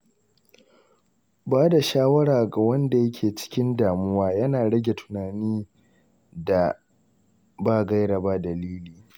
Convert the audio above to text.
Ba da shawara ga wanda yake cikin damuwa yana rage tunanin da ba gaira ba dalili.